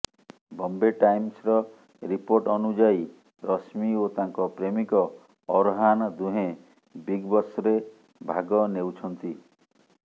ବମ୍ବେ ଟାଇମ୍ସର ରିପୋର୍ଟ ଅନୁଯାୟୀ ରଶ୍ମୀ ଓ ତାଙ୍କ ପ୍ରେମିକ ଅର୍ହାନ ଦୁହେଁ ବିଗ୍ ବସ୍ରେ ଭାଗ ନେଉଛନ୍ତି